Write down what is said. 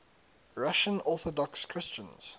russian orthodox christians